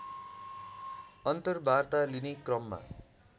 अन्तर्वार्ता लिने क्रममा